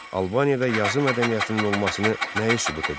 Albaniyada yazı mədəniyyətinin olmasını nəyi sübut edir?